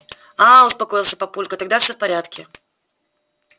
аа успокоился папулька тогда всё в порядке